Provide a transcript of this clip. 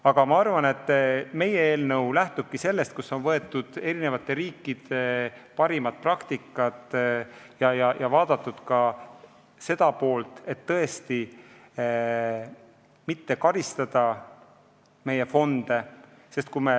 Aga ma arvan, et eelnõu lähtub sellest, et on vaadatud eri riikide parimat praktikat ja ka seda poolt, kuidas mitte meie fonde karistada.